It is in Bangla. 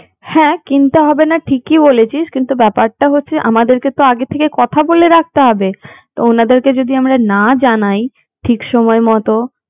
হ্যাঁ কিনতে হবে না ঠিকই বলেছিস কিন্তু ব্যাপারটা হচ্ছে আমাদেরকে তো আগে থেকে কথা বলে রাখতে হবে তো উনাদেরকে যদি আমরা না জানাই ঠিক সময় মতো